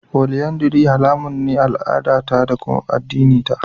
Folyandary haramun ne a al'adata da addinina.